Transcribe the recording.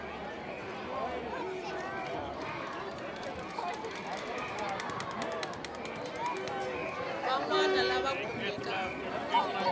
van wana lava va khumbekaku